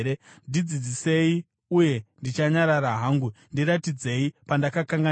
“Ndidzidzisei, uye ndichanyarara hangu; ndiratidzei pandakakanganisa.